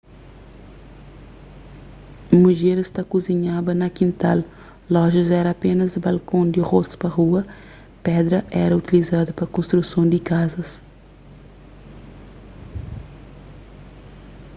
mudjeris ta kuzinhaba na kintal lojas éra apénas balkon di rostu pa rua pedra éra utilizadu pa konstruson di kazas